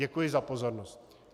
Děkuji za pozornost.